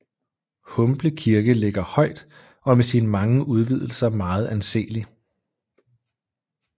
Humble Kirke ligger højt og er med sine mange udvidelser meget anselig